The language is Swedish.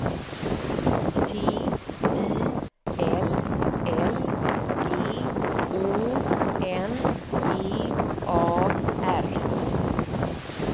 T I L L G Å N G A R